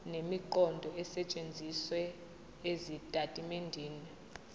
nemiqondo esetshenzisiwe ezitatimendeni